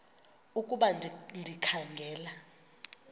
ukuba ndikha ngela